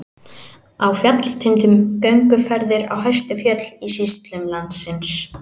Á fjallatindum- gönguferðir á hæstu fjöll í sýslum landsins.